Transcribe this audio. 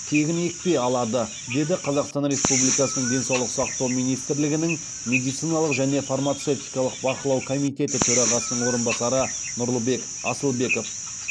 тегін екпе алады деді қазақстан республикасының денсаулық сақтау министрлігінің медициналық және фармацевтикалық бақылау комитеті төрағасының орынбасары нұрлыбек асылбеков